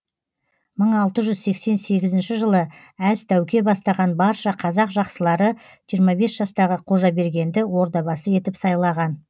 мың алты жүз сексен сегізінші жылы әз тәуке бастаған барша қазақ жақсылары жиырма бес жастағы қожабергенді ордабасы етіп сайлаған